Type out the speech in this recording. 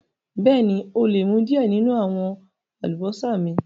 Bẹẹ̀ni, o lè mú diẹ̀ ninu àwọn àlúbọsà mi.